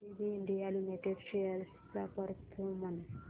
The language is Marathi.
एबीबी इंडिया लिमिटेड शेअर्स चा परफॉर्मन्स